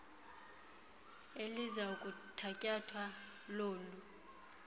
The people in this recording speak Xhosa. eliza kuthatyathwa lolu